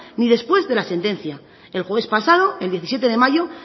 ni después de la sentencia el jueves pasado el diecisiete de mayo